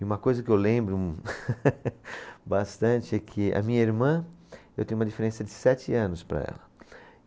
E uma coisa que eu lembro bastante é que a minha irmã, eu tenho uma diferença de sete anos para ela.